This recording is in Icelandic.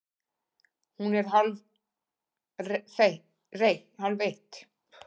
Hún er hálfeitt!